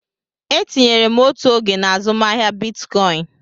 Etinyere m otu oge na azụmaahịa Bitcoin.